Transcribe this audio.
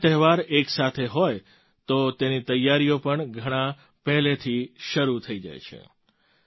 આટલા તહેવાર એક સાથે હોય તો તેની તૈયારીઓ પણ ઘણા સમય પહેલાં જ શરૂ થઈ જાય છે